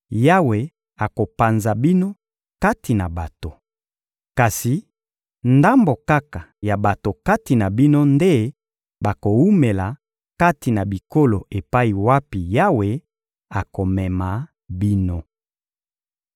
Yawe akopanza bino kati na bato. Kasi ndambo kaka ya bato kati na bino nde bakowumela kati na bikolo epai wapi Yawe akomema bino.